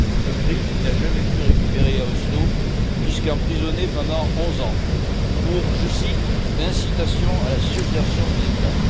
Un prix qu'il n'a jamais pu récupérer à Oslo car il a été emprisonné pendant 11 ans pour, je cite incitation à la subversion de l'État.